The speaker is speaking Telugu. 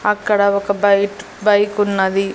అక్కడ ఒక బైట్ బైకున్నది .